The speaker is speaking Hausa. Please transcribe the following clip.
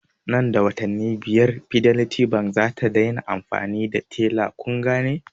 Nan da watanni biyar bankin fidelity zata dai na amfani da tella kungane?